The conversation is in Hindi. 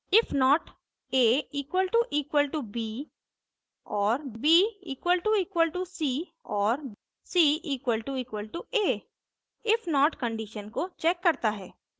if not $a == $b और $b == $c और $c == $a if not condition को checks करता है